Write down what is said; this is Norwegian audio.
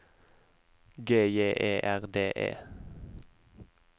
G J E R D E